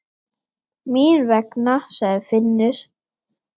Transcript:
Mín vegna, sagði Finnur.